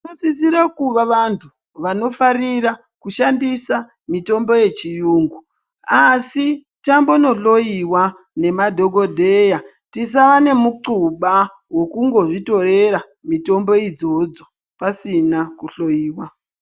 Vanosisira kuva vantu vanofarira kushandisa mitombo yechiyungu. Asi tambonohloiva nemadhogodheya tisave nemutxuba vokungozvitorera mutombo idzodzo pasina kuhloiwa.